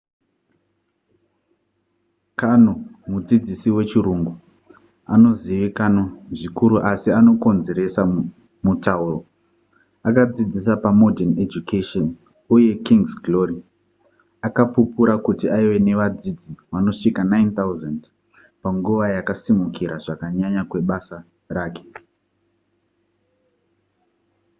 karno mudzidzisi wechirungu anozivikanzwa zvikuru asi anokonzeresa mutauro akadzidzisa pamodern education uye king's glory akapupura kuti aive nevadzidzi vanosvika 9,000 panguva yakusimukira zvakanyanya kwebasa rake